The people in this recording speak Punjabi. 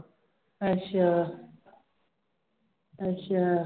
ਅੱਛਾ ਅੱਛਾ